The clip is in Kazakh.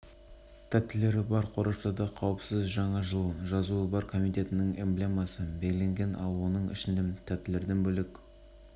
арналған жаңажылдық тәттілер қорапшаларының топтамасын шығарады деп хабарлады елорданың ресми сайты сәрсенбі күні сайтта жарияланған